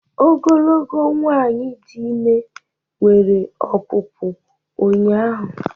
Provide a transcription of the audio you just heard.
ogologo nwanyị dị ime nwere ọpụpụ ụnyahụ